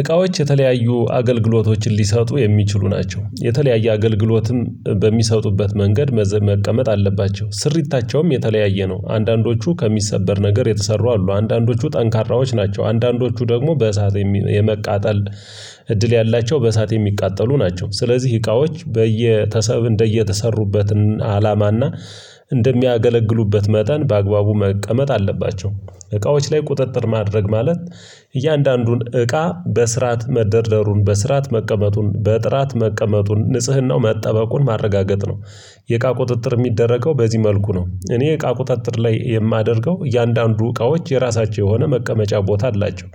እቃዎች የተለያዩ አገልግሎቶችን ሊሰጡ የሚችሉ ናቸው። የተለያየ አገልግሎትም በሚሰጡበት መንገድ በዚህ መቀመጥ አለባቸው ስሪታቸውም የተለያየ ነው። አንዳንዶቹ ከሚሰበር ነገር የተሰሩ አሉ አንዳንዶቹ ጠንካራዎች ናቸው። አንዳንዶቹ ደግሞ በእሳት የመቃጠል እድል ያላቸው በእሳት የሚቃጠሉ ናቸው። ስለዚህ እቃዎች በየተሰሩ እንደየተሰሩበት አላማና እንደሚያገለግሉበት መጠን በአግባቡ መቀመጥ አለባቸው። እቃዎች ላይ ቁጥጥር ማድረግ ማለት እያንዳንዱን እቃ በስርዓት መደርደሩን በስርዓት መቀመጡን በጥራት መቀመጡን ንጽህናው መጠበቁን ማረጋገጥ ነው። የእቃ ቁጥጥር የሚደረገው በዚህ መልኩ ነው። እኔ እቃ ቁጥጥር ላይ የማደርገው እያንዳንዱ እቃዎች የራሳቸው የሆነ መቀመጫ ቦታ አላቸው።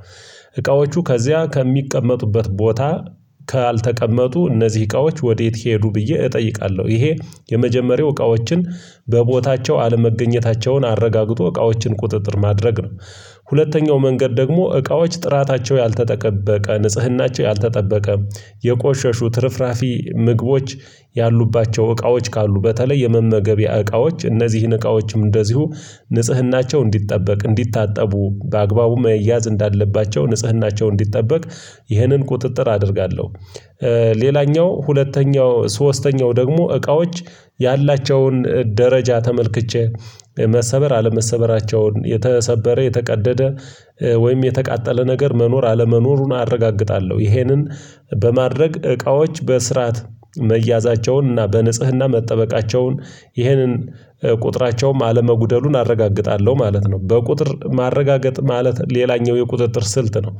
እቃዎቹ ከዚያ ከሚቀመጡበት ቦታ ካልተቀመጡ እነዚህ እቃዎች ወዴት ሄዱ ብዬ እጠይቃለሁ። ይሄ የመጀመሪያው እቃዎችን በቦታቸው አለመገኘታቸውን አረጋግጦ እቃዎችን ቁጥጥር ማድረግ ነው። ሁለተኛው መንገድ ደግሞ እቃዎች ጥራታቸው ያልተጠበቀ ንጽህናቸው ያልተጠበቀ የቆሸሹ ትርፍራፊ ምግቦች ያሉባቸው እቃዎች ካሉ በተለይ የመመገቢያ እቃዎች እነዚህን እቃዎችም እንደዚሁ ንጽህናቸው እንዲጠበቅ እንዲታጠቡ በአግባቡ መያዝ እንዳለባቸው ንጽህናቸው እንዲጠበቅ ይህንን ቁጥጥር አደርጋለሁ። ሌላኛው ሁለተኛው ሶስተኛው ደግሞ እቃዎች ያላቸውን ደረጃ ተመልክቼ መሰበር አለመሰበራቸውን የተሰበረ የተቀደደ ወይም የተቃጠለ ነገር መኖር አለመኖሩን አረጋግጣለሁ። ይሄንን በማድረግ እቃዎች በስርዓት መያዛቸውን እና በንጽህና መጠበቃቸውን ይህንን ቁጥራቸውን አለመጉደሉን አረጋግጣለሁ ማለት ነው። በቁጥር ማረጋገጥ ማለት ሌላኛው የቁጥጥር ስልት ነው።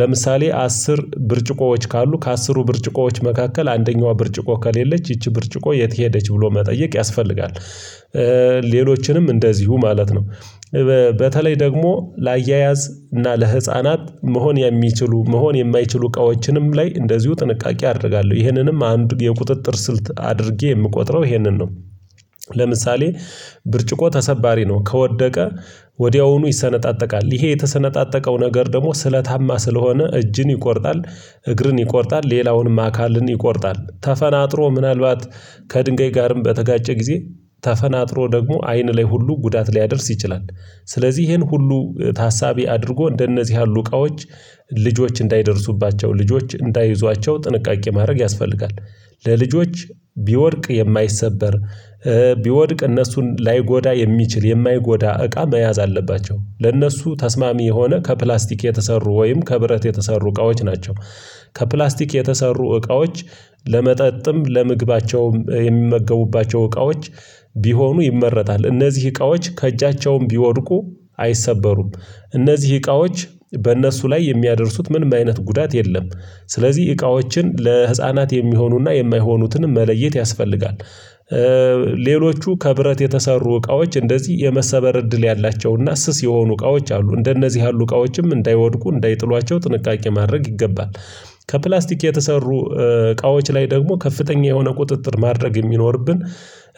ለምሳሌ አስር ብርጭቆዎች ካሉ ከአስሩ ብርጭቆዎች መካከል አንደኛዋ ብርጭቆ ከሌለች ይቺ ብርጭቆ የት ሄደች ብሎ መጠየቅ ያስፈልጋል። ሌሎችንም እንደዚሁ ማለት ነው። በተለይ ደግሞ ለአያያዝ እና ለህፃናት መሆን የሚችሉ መሆን የማይችሉ እቃዎችንም ላይ እንደዚሁ ጥንቃቄ አደርጋለሁ ይህንንም አንድ የቁጥጥር ስልት አድርጌ የምቆጥረው ይሄንን ነው። ለምሳሌ ብርጭቆ ተሰባሪ ነው ከወደቀ ወዲያውኑ ይሰነጣጠቃል ይሄ የተሰነጣጠቀው ነገር ደግሞ ስለታማ ስለሆነ እጅን ይቆርጣል እግርን ይቆርጣል ሌላውንም አካልን ይቆርጣል ተፈናጥሮ ምናልባት ከድንጋይ ጋርም በተጋጨ ጊዜ ተፈናጥሮ ደግሞ አይን ላይ ሁሉ ጉዳት ሊያደርስ ይችላል። ስለዚህ ይሄን ሁሉ ታሳቢ አድርጎ እንደነዚህ ያሉ እቃዎች ልጆች እንዳይደርሱባቸው ልጆች እንዳይዟቸው ጥንቃቄ ማድረግ ያስፈልጋል። ለልጆች ቢወድቅ የማይሰበር ቢወድቅ እነሱን ላይጎዳ የሚችል የማይጎዳ እቃ መያዝ አለባቸው ለእነሱ ተስማሚ የሆነ ከፕላስቲክ የተሰሩ ወይም ከብረት የተሰሩ እቃዎች ናቸው። ከፕላስቲክ የተሰሩ እቃዎች ለመጠጥም ለመግባቸውም የሚመገቡባቸው እቃዎች ቢሆኑ ይመረጣል እነዚህ እቃዎች ከእጃቸውም ቢወድቁ አይሰበሩም። እነዚህ እቃዎች በእነሱ ላይ የሚያደርሱት ምንም አይነት ጉዳት የለም። ስለዚህ እቃዎችን ለህፃናት የሚሆኑና የማይሆኑትንም መለየት ያስፈልጋል። ሌሎቹ ከብረት የተሰሩ እቃዎች እንደዚህ የመሰበር እድል ያላቸውና ስስ የሆኑ እቃዎች አሉ። እንደነዚህ ያሉ እቃዎችም እንዳይወድቁ እንዳይጥሏቸው ጥንቃቄ ማድረግ ይገባል። ከፕላስቲክ የተሰሩ እቃዎች ላይ ደግሞ ከፍተኛ የሆነ ቁጥጥር ማድረግ የሚኖርብን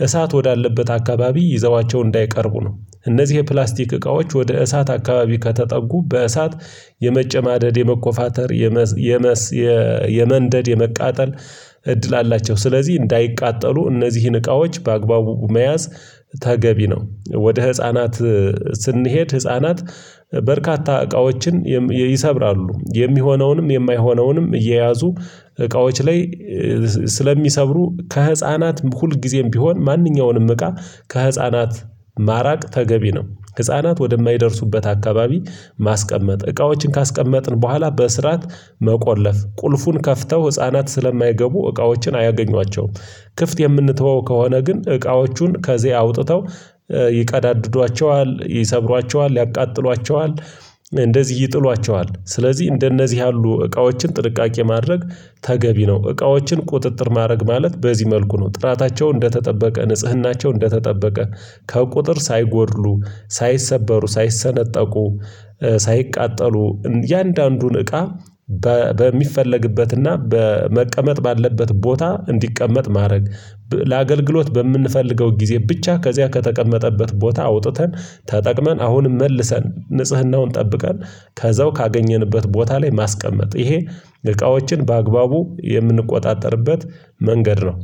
እሳት ወዳለበት አካባቢ ይዘዋቸው እንዳይቀርቡ ነው። እነዚህ የፕላስቲክ እቃዎች ወደ እሳት አካባቢ ከተጠጉ በእሳት የመጨማደድ የመኮፋተር የመስ የመንደድ የመቃጠል እድል አላቸው። ስለዚህ እንዳይቃጠሉ እነዚህን እቃዎች በአግባቡ መያዝ ተገቢ ነው። ወደ ህፃናት ስንሄድ ህፃናት በርካታ እቃዎችን ይሰብራሉ የሚሆነውንም የማይሆነውንም እየያዙ እቃዎች ላይ ስለሚሰብሩ ከህፃናት ሁልጊዜም ቢሆን ማንኛውንም እቃ ከህፃናት ማራቅ ተገቢ ነው። ህፃናት ወደማይደርሱበት አካባቢ ማስቀመጥ እቃዎችን ካስቀመጥን በኋላ በስርዓት መቆለፍ ቁልፉን ከፍተው ህፃናት ስለማይገቡ እቃዎችን አያገኟቸውም። ክፍት የምንተወው ከሆነ ግን እቃዎቹን ከዚህ አውጥተው ይቃዳድዷቸዋል ይሰብሯቸዋል ያቃጥሏቸዋል። እንደዚህ ይጥሏቸዋል ስለዚህ እንደነዚህ ያሉ እቃዎችን ጥልቃቄ ማድረግ ተገቢ ነው። እቃዎችን ቁጥጥር ማድረግ ማለት በዚህ መልኩ ነው። ጥራታቸው እንደተጠበቀ ንጽህናቸው እንደተጠበቀ ከቁጥር ሳይጎድሉ ሳይሰበሩ ሳይሰነጠቁ ሳይቃጠሉ እያንዳንዱን እቃ በሚፈለግበትና በመቀመጥ ባለበት ቦታ እንዲቀመጥ ማድረግ ለአገልግሎት በምንፈልገው ጊዜ ብቻ ከዚያ ከተቀመጠበት ቦታ አውጥተን ተጠቅመን አሁንም መልሰን ንጽህናውን ጠብቀን ከዛው ካገኘንበት ቦታ ላይ ማስቀመጥ ይሄ እቃዎችን በአግባቡ የምንቆጣጠርበት መንገድ ነው